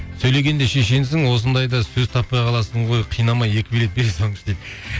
сөйлегенде шешенсің осындайда сөз таппай қаласың ғой қинамай екі билет бере салыңызшы дейді